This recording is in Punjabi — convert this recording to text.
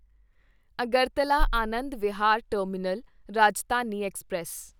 Agartala Anand Vihar Terminal Rajdhani express